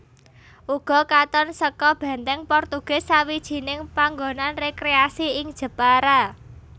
Ugo katon seka Benteng Portugis sawijining panggonan rekreasi ing Jepara